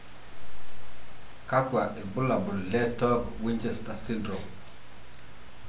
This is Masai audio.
Kakwa ibulabul le Torg Winchester syndrome?